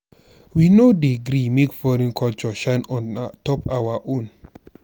we no dey gree make foreign culture shine on top our own.